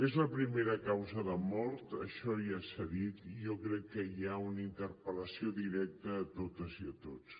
és la primera causa de mort això ja s’ha dit i jo crec que hi ha una interpel·lació directa a totes i a tots